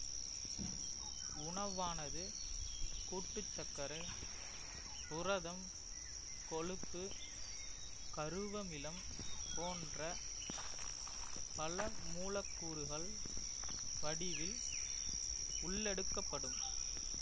உணவானது கூட்டுச்சர்க்கரை புரதம் கொழுப்பு கருவமிலம் போன்ற பலமூலக்கூறுகள் வடிவில் உள்ளெடுக்கப்படும்